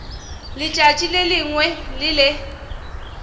letšatši le lengwe le le